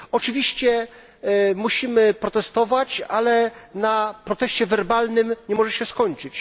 Oczywiście musimy protestować, ale na proteście werbalnym nie może się skończyć.